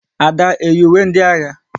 Ada eyi ùwé ndị agha?